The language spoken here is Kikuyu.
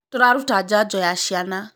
tũraruta janjo ya ciana